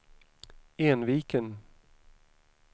Enviken